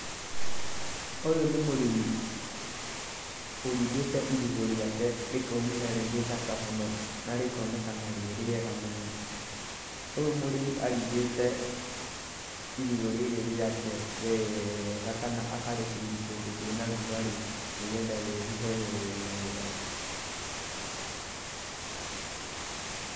Ũyũ nĩ mũrĩmi ũrindĩte irigũ rĩake rĩkaumĩra rĩ rĩthaka mũno, na rikonekana rĩ rĩega mũno. Ũyũ mũrĩmi arindĩte irigũ rĩrĩ rĩake wega kana akarĩcuri kũndũ kwĩna rugarĩ, nĩgetha rĩruhe wega.